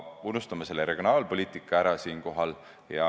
Unustame selle regionaalpoliitika siinkohal ära.